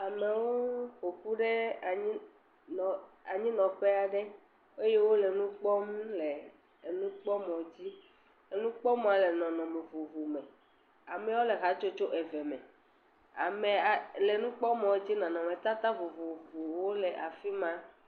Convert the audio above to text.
Amewo ƒoƒu ɖe anyi, anyi nɔƒe aɖe eye wole nukpɔm le enukpɔmɔ dzi. Enukpɔmɔ le nɔnɔme vovo me. Amewo le hatsotso eve me. Ameawo le nukpɔmɔ dzia, nɔnɔme tata vovovowo le afima.